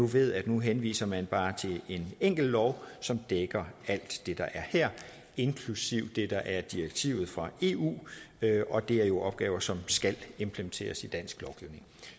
ved at nu henviser man bare til en enkelt lov som dækker alt det der er her inklusive det der er i direktivet fra eu og det er jo opgaver som skal implementeres i dansk lovgivning